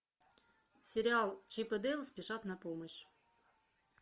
сериал чип и дейл спешат на помощь